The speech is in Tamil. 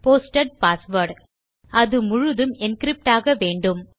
போஸ்டட் பாஸ்வேர்ட் அது முழுதும் என்கிரிப்ட் ஆக வேண்டும்